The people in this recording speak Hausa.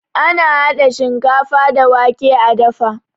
Ana hada shinkafa da wake a dafa